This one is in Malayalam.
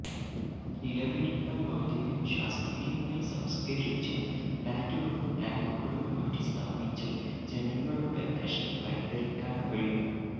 നിലവിലുള്ള മാലിന്യം ശാസ്ത്രീയമായി സംസ്ക്കരിച്ചും പ്ലാന്റ്ുകളും ടാങ്കുകളും മാറ്റി സ്ഥാപിച്ചും ജനങ്ങളുടെ പ്രശ്നം പരിഹരിക്കാൻ കഴിയും